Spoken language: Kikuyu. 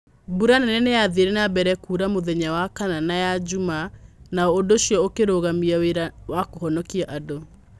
Mbura nene nĩ yaathire na mbere kũura Mutheya wa kana na ya Jumaa, na ũndũ ũcio ũkirũgamia wĩra wa kũhonokia andũ.